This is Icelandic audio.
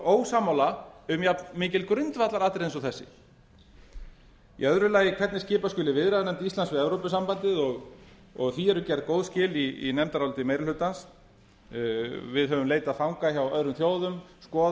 ósammála um jafnmikil grundvallaratriði eins og þessi í öðru lagi hvernig skipa skuli viðræðum íslands við evrópusambandsins og því eru gerð góð skil í nefndaráliti meiri hlutans við höfum leitað fanga hjá öðrum þjóðum